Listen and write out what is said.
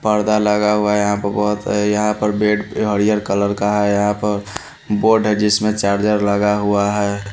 पर्दा लगा हुआ है यहां पर बहुत है यहां पर बेड कलर का है यहां पर बोर्ड है जिसमें चार्जर लगा हुआ है।